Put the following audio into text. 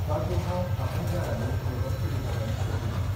बाथरुमाव हाबहां जानानैनो मेगन फिदिंहरदों सोरगिदिं।